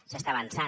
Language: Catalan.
s’està avançant